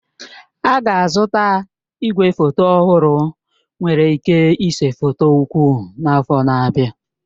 Ha ga-azụta igwefoto ọhụrụ nwere ike ịse foto ukwu n'afọ na-abịa.